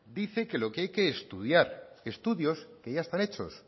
dice que lo que hay que estudiar estudios que ya están hechos